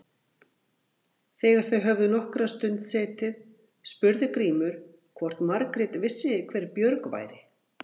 Þegar þau höfðu nokkra stund setið spurði Grímur hvort Margrét vissi hver Björg væri.